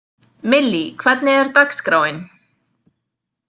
Millý, hvernig er dagskráin?